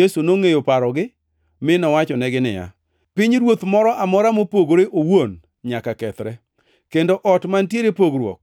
Yesu nongʼeyo parogi mi nowachonegi niya, “Pinyruoth moro amora mopogore owuon nyaka kethre, kendo ot mantiere gi pogruok